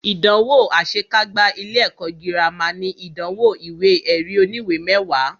Ìdánwò àṣe kágbá ilé ẹ̀kọ́ gírámà ní ìdánwò ìwé ẹ̀rí oníwè mẹwàá.